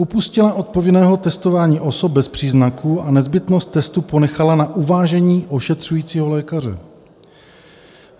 - Upustila od povinného testování osob bez příznaků a nezbytnost testu ponechala na uvážení ošetřujícího lékaře.